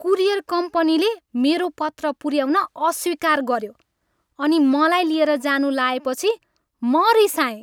Courier कम्पनीले मेरो पत्र पुऱ्याउन अस्वीकार गऱ्यो अनि मलाई लिएर जानु लाएपछि म रिसाएँ।